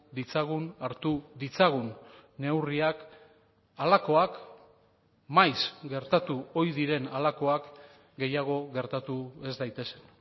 ditzagun hartu ditzagun neurriak halakoak maiz gertatu ohi diren halakoak gehiago gertatu ez daitezen